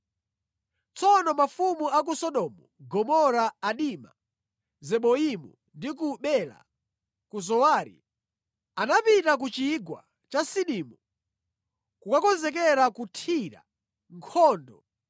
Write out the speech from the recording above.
Tsono mafumu a ku Sodomu, Gomora, Adima, Zeboimu ndi ku Bela (ku Zowari) anapita ku Chigwa cha Sidimu kukakonzekera kuthira nkhondo